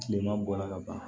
Kilema bɔra ka ban